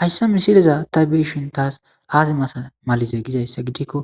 hayssa misileza ta birshin taas aazimasa malize gizayssa gidikko